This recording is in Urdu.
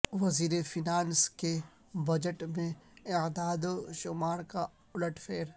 وزیر فینانس کے بجٹ میں اعداد و شمار کا الٹ پھیر